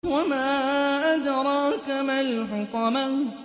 وَمَا أَدْرَاكَ مَا الْحُطَمَةُ